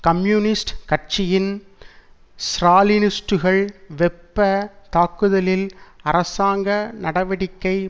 communist கட்சியின் ஸ்ராலினிஸ்டுகள் வெப்ப தாக்குதலில் அரசாங்க நடவடிக்கை